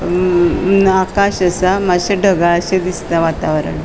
अ आकाश असा माशे ढगाळशे दिसता वातावरण.